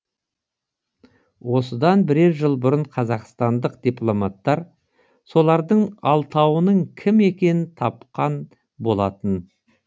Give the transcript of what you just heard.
осыдан бірер жыл бұрын қазақстандық дипломаттар солардың алтауының кім екенін тапқан болатын